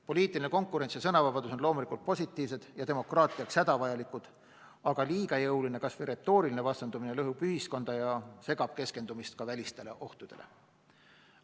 Poliitiline konkurents ja sõnavabadus on loomulikult positiivsed ja demokraatiaks hädavajalikud, aga liiga jõuline kas või retooriline vastandumine lõhub ühiskonda ja segab keskendumist ka välistele ohtudele.